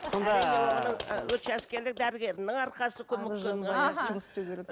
учаскелік дәрігердің арқасы